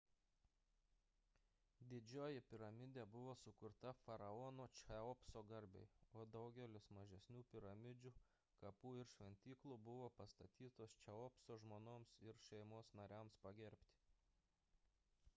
didžioji piramidė buvo sukurta faraono cheopso garbei o daugelis mažesnių piramidžių kapų ir šventyklų buvo pastatytos cheopso žmonoms ir šeimos nariams pagerbti